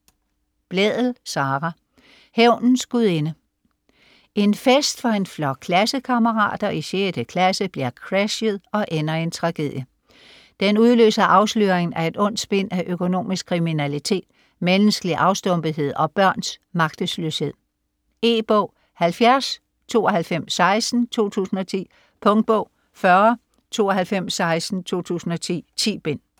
Blædel, Sara: Hævnens gudinde En fest for en flok klassekammerater i 6. klasse bliver crashet og ender i en tragedie, der udløser afsløringen af et ondt spind af økonomisk kriminalitet, menneskelig afstumpethed og børns magtesløshed. E-bog 709216 2010. Punktbog 409216 2010. 10 bind.